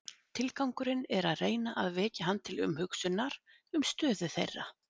Tilgangurinn er að reyna að vekja hann til umhugsunar um stöðu þeirra.